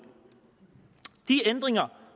de ændringer